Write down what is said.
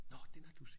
Nå den har du set